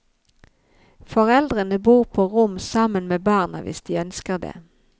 Foreldrene får bo på rom sammen med barna hvis de ønsker det.